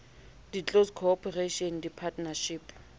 di close corporation di partnership